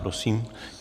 Prosím.